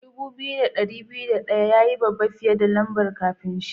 Dubu biyu da dari biyu da daya ya yi babba fiyar da lamba'n kafin shi.